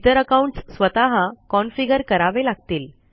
इतर अकाउनट्स स्वतः कॉन्फीगर करावे लागतील